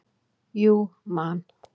Jú Man.